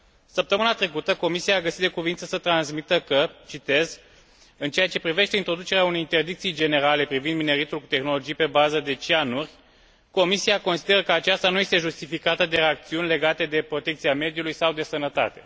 Săptămâna trecută, Comisia a găsit de cuviință să transmită că în ceea ce privește introducerea unei interdicții generale privind mineritul cu tehnologii pe bază de cianuri, Comisia consideră că aceasta nu este justificată de acțiuni legate de protecția mediului sau de sănătate.